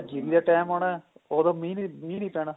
ਜੀਰੀ ਦਾ time ਆਉਣਾ ਉਹਦੋ ਮੀਹ ਨਹੀਂ ਪੈਣਾ